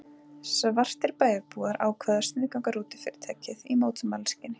Svartir bæjarbúar ákváðu að sniðganga rútufyrirtækið í mótmælaskyni.